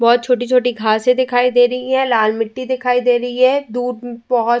बोहोत छोटी-छोटी घासे दिखाई दे रही हैं। लाल मिट्टी दिखाई दे रही है दूर बोहोत --